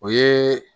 O ye